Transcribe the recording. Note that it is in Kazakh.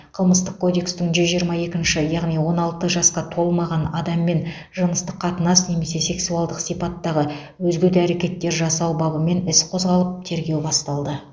қылмыстық кодекстің жүз жиырма екінші яғни он алты жасқа толмаған адаммен жыныстық қатынас немесе сексуалдық сипаттағы өзге де әрекеттер жасау бабымен іс қозғалып тергеу басталды